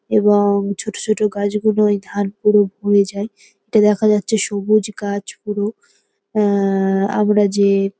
এবং ছোট ছোট গাছগুলো এই ধান পুরো ভরে যায়। এটা দেখা যাচ্ছে সবুজ গাছ পুরো আআআ আমরা যে--